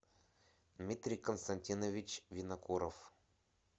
дмитрий константинович винокуров